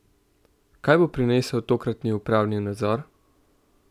Kaj bo prinesel tokratni upravni nadzor?